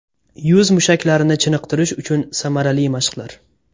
Yuz mushaklarini chiniqtirish uchun samarali mashqlar.